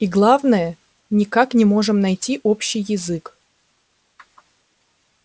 и главное никак не можем найти общий язык